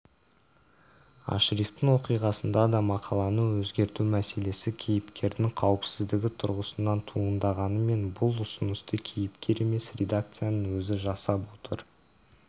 ашрифтің оқиғасында да мақаланы өзгерту мәселесі кейіпкердің қауіпсіздігі тұрғысынан туындағанымен бұл ұсынысты кейіпкер емес редакцияның өзі жасап отыр